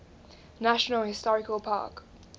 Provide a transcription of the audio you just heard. national historical park